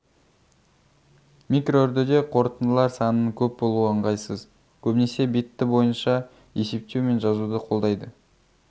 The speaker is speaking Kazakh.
микроүрдіде қорытындылар санының көп болуы ыңғайсыз көбінесе битті бойынша есептеу мен жазуды қолдайды